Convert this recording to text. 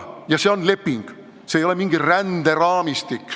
Ja see on leping, see ei ole mingi ränderaamistik.